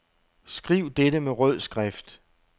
Skriv dette med rød skrift.